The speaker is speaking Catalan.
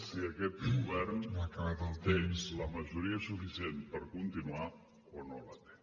si aquest govern té la majoria suficient per continuar o no la té